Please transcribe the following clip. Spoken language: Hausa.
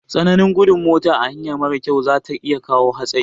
Tsananin gudun mota a hanya marar kyau za iya kawo hatsari